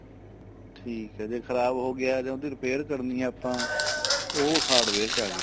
ਠੀਕ ਏ ਜੇ ਖ਼ਰਾਬ ਹੋ ਗਿਆ ਜਾਂ ਉਹਦੀ repair ਕਰਨੀ ਆ ਆਪਾਂ ਉਹ hardware ਚ ਆ ਗਏ